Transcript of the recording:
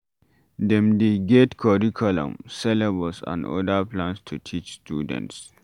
Dem dey get Curriculum, syllabus and oda plans to teach students